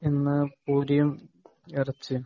ഇന്ന് പൂരിയും ഇറച്ചിയും